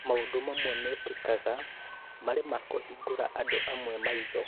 Maũndũ mamwe mekĩkaga marĩ makũhingũra andũ amwe maitho